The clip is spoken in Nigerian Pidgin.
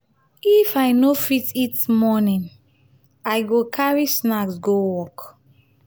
if i no fit eat morning i go carry snack go work.